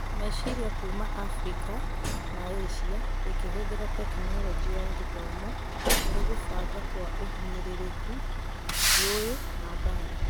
Meciria kuuma Afirika na ĩsia ĩkĩhũthĩra Tekinoronjĩ ya Gĩthomo harĩ gũbanga kwa ũhinyĩrĩrĩku, ngũĩ na mbara